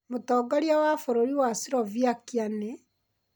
Mũtongoria wa bũrũri wa Slovakia nĩ?